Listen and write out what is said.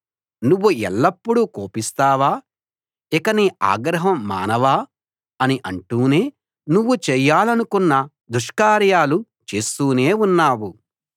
నువ్వు ఎల్లప్పుడూ కోపిస్తావా ఇక నీ ఆగ్రహం మానవా అని అంటూనే నువ్వు చేయాలనుకున్న దుష్కార్యాలు చేస్తూనే ఉన్నావు